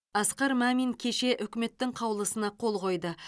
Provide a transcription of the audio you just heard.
асқар мамин кеше үкіметтің қаулысына қол қойды